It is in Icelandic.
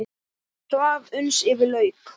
Hún svaf uns yfir lauk.